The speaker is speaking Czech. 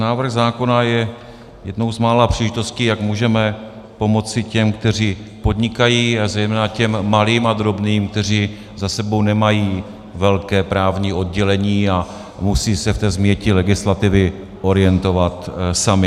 Návrh zákona je jednou z mála příležitostí, jak můžeme pomoci těm, kteří podnikají, a zejména těm malým a drobným, kteří za sebou nemají velké právní oddělení a musí se v té změti legislativy orientovat sami.